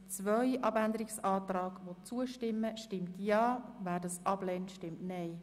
Wer dem Abänderungsantrag Nummer 2 zustimmt, stimmt Ja, wer dies ablehnt, stimmt Nein.